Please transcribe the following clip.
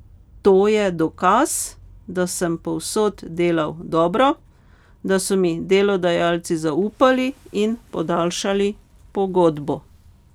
To je dokaz, da sem povsod delal dobro, da so mi delodajalci zaupali in podaljšali pogodbo.